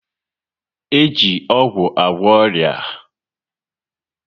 E ji ọgwụ agwọ ọrịa